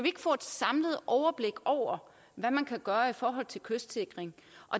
ikke få et samlet overblik over hvad man gøre i forhold til kystsikring